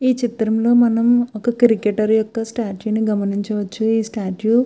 ఈ చిత్రం లో మనం ఒక క్రికెటర్ ఒక స్టాట్యూ ని గమనించవచ్చు. స్టాట్యూ --